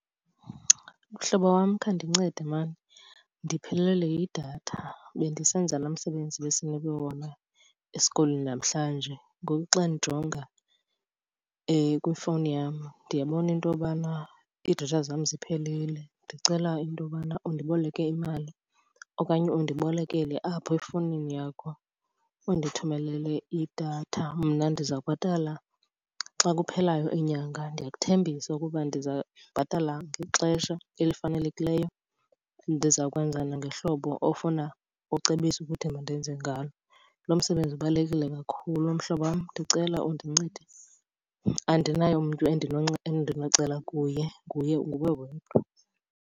Mhlobo wam, khandincede mani ndiphelelwe yidatha. Bendisenza laa msebenzi besinikwe wona esikolweni namhlanje, ngoku xa ndijonga kwifowuni yam ndiyabona into yobana iidatha zam ziphelile. Ndicela intobana undiboleke imali okanye undibolekele apho efowunini yakho undithumelele idatha, mna ndiza kubhatala xa kuphelayo inyanga. Ndiyakuthembisa ukuba ndiza kubhatala ngexesha elifanelekileyo, ndizawukwenza nangohlobo ofuna, ocebisa ukuthi mandenze ngalo. Lo msebenzi ubalulekile kakhulu mhlobo wam, ndicela undincede. Andinaye umntu endinocela kuye, nguwe wedwa.